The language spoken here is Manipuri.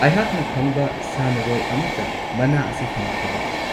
ꯑꯩꯍꯥꯛꯅ ꯈꯪꯕ ꯁꯥꯟꯅꯔꯣꯏ ꯑꯃꯠꯇ ꯃꯅꯥ ꯑꯁꯤ ꯐꯪꯈ꯭ꯔꯕꯥ?